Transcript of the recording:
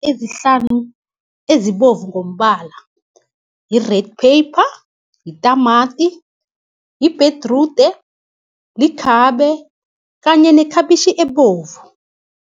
Ezihlanu ezibovu ngombala, yi-red pepper, yitamati, ibherude, likhabe kanye nekhabitjhi ebovu.